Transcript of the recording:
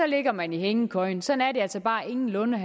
ligger man i hængekøjen sådan er det altså bare ingenlunde